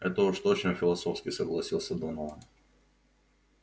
это уж точно философски согласился донован